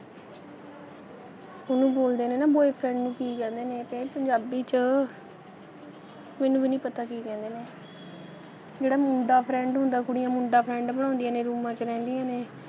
ਉਹਨੂੰ ਬੋਲਦੇ ਨੇ ਨਾ boyfriend ਨੂੰ ਕੀ ਕਹਿੰਦੇ ਨੇ ਕਿ ਪੰਜਾਬੀ 'ਚ ਮੈਨੂੰ ਵੀ ਨਹੀਂ ਪਤਾ ਕੀ ਕਹਿੰਦੇ ਨੇ ਜਿਹੜਾ ਮੁੰਡਾ friend ਹੁੰਦਾ, ਕੁੜੀਆਂ ਮੁੰਡਾ friend ਬਣਾਉਂਦੀਆਂ ਨੇ ਰੂਮਾਂ 'ਚ ਰਹਿੰਦੀਆਂ ਨੇ,